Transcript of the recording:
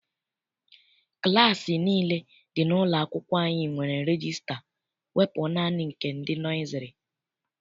Klassi nile dị n'ụlọ akwụkwọ anyị nwere regista wepụ naanị nke ndị nọiziri.